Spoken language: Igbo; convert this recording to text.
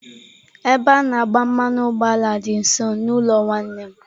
Ebe a na agba mmanụ ụgbọala dị nso n'ụlọ nwanne m nwoke.